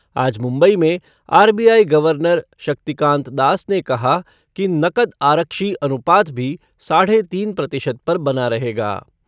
आज मुम्बई में RBI governor Shaktikanta Das ने कहा कि नकद आरक्षी अनुपात भी साढ़े तीन प्रतिशत पर बना रहेगा।